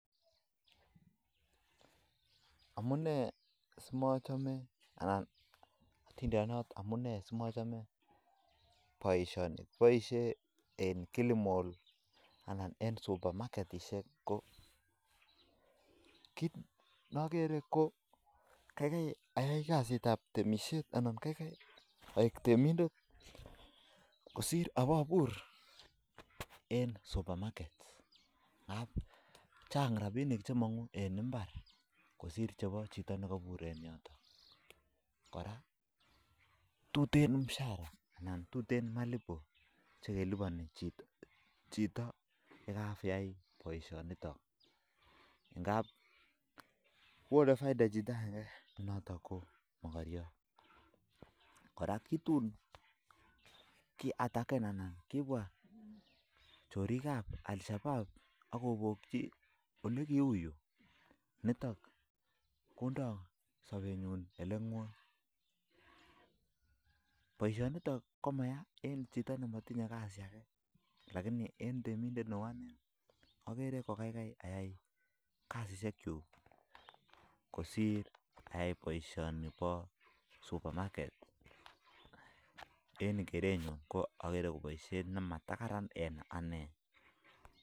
Amunee simochome anan atindiniot anan boisyoni boisyoni en kilimall anan en supamaketishek ko kit nakere ko kaikai aek temindet kosir abur eng supamaket ak tuten chepkondok chebo kasit notok ako onei bik [profit] ako kibokyi bik ako agere kokorom mising eng temindet neu anee